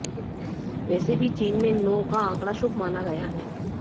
वैसे भी चीन में नौ का आंकड़ा शुभ माना गया है